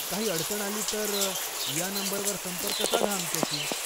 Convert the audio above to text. काही अडचण आली, तर या नंबरवर संपर्क साधा आमच्याशी.